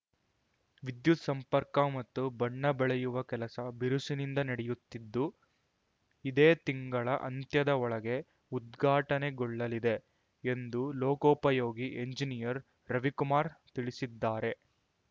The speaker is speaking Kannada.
ವಿದ್ಯುತ್‌ ಸಂಪರ್ಕ ಮತ್ತು ಬಣ್ಣ ಬಳಿಯುವ ಕೆಲಸ ಬಿರುಸಿನಿಂದ ನಡೆಯುತ್ತಿದ್ದು ಇದೇ ತಿಂಗಳ ಅಂತ್ಯದ ಒಳಗೆ ಉದ್ಘಾಟನೆಗೊಳ್ಳಲಿದೆ ಎಂದು ಲೋಕೋಪಯೋಗಿ ಎಂಜಿನಿಯರ್‌ ರವಿಕುಮಾರ್‌ ತಿಳಿಸಿದ್ದಾರೆ